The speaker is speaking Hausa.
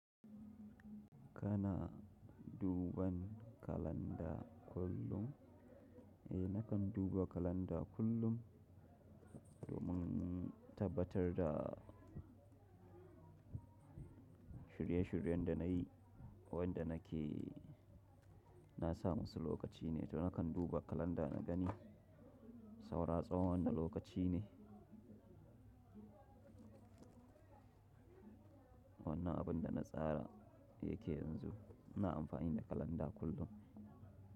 Kana duban kalanda kullum? Eh, nakan duba kalanda kullum domin tabbatar da shirye-shiryen da na yi, wanda nake nasa musu lokaci ne. To, nakan duba kalanda na gani saura tsawon wana lokaci ne, wannan abun da na tsara yake yanzu. Ina amfani da kalanda kullum.